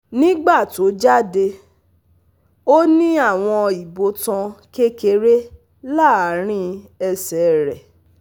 Nígbà tó jáde, ó ní àwọn ibotan kékeré láàrín ẹsẹ̀ rẹ̀